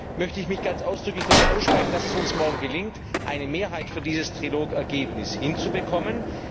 Deswegen möchte ich mich ganz ausdrücklich dafür aussprechen, dass es uns morgen gelingt, eine Mehrheit für dieses Trilog Ergebnis hinzubekommen.